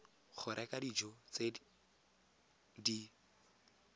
go reka dijo tse di